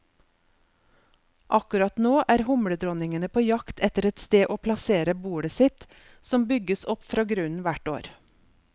Akkurat nå er humledronningene på jakt etter et sted å plassere bolet sitt, som bygges opp fra grunnen hvert år.